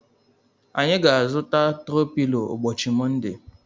Anyị ga-azuta tro pilo ụbọchị Monde.